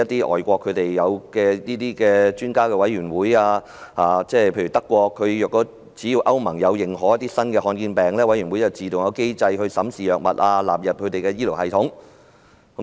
外國便設有專家委員會，只要歐洲聯盟認可新的罕見疾病，有關委員會便會自動啟動機制審視藥物，並納入醫療系統內。